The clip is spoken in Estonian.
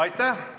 Aitäh!